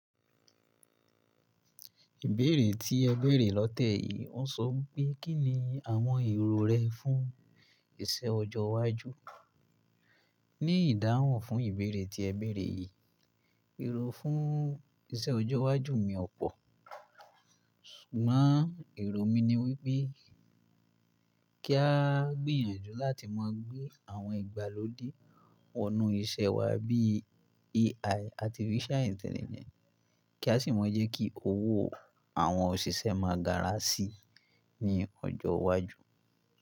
Ìbéèrè tí ẹ bẹ̀rẹ̀ lọ́tẹ̀ yìí ń sọ pé kí ni àwọn èrò rẹ fún iṣẹ́ ọjọ́ iwájú. Ní ìdáhùn fún ìbéèrè tí ẹ bẹ̀rẹ̀ yìí, èrò fún iṣẹ́ ọjọ́ iwájú mi ọ̀pọ̀. Ṣùgbọ́n èrò mi ni wípé kí a gbìyànjú láti má gbé àwọn ìgbàlódé wọnú iṣẹ́ wa bí i AI Artificial Intelligence. Kí a sì má jẹ́ kí owó àwọn òṣìṣẹ́ máa gara sí ní ọjọ́ iwájú.